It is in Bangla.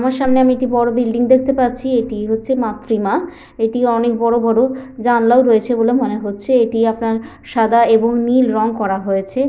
আমার সামনে আমি একটি বড় বিল্ডিং দেখতে পাচ্ছি । এটি হচ্ছে মাতৃ মা এটি অনেক বড় বড় জানলাও রয়েছে বলে মনে হচ্ছে। এটি আপনার সাদা এবং নীল রং করা হয়েছে --